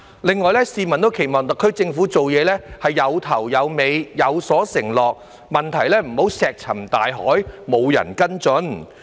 另外，市民亦期望特區政府做事有始有終，有所承諾，不要讓問題石沉大海，沒有人跟進。